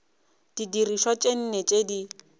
didirišwa tše nne tše di